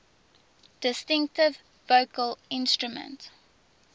distinctive vocal instrument